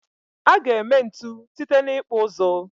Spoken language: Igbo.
A ga-eme ntu site n'ịkpụ ụzụ.